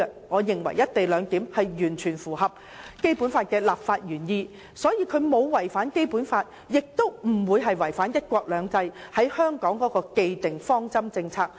我認為"一地兩檢"完全符合《基本法》的立法原意，既沒有違反《基本法》，亦沒有違反對香港關乎"一國兩制"的既定方針政策。